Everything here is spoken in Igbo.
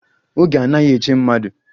Oge anaghi eche mmadụ